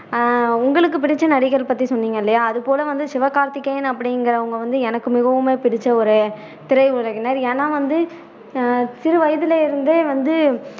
ஆஹ் உங்களுக்கு புடிச்ச நடிகர் பத்தி சொன்னீங்க இல்லையா அது போல வந்து சிவகார்த்திக்கேயன் அப்படிங்குறவங்க வந்து எனக்கு மிகவுமே பிடிச்ச ஒரு திரையுலகினர் ஏன்னா வந்து ஆஹ் சிறு வயதுல இருந்தே வந்து